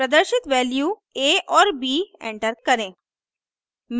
प्रदर्शित values a और b enter करें